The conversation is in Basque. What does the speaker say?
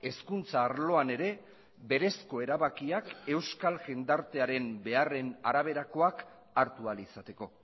hezkuntza arloan ere berezko erabakiak euskal jendartearen beharren araberakoak hartu ahal izateko